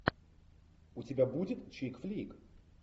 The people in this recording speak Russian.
у тебя будет чик флик